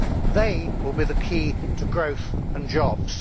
They will be the key to growth and jobs.